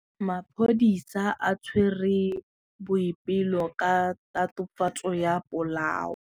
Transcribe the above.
Maphodisa a tshwere Boipelo ka tatofatsô ya polaô.